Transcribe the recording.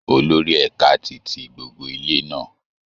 Olórí ẹ̀ka ti tí gbogbo ilé náà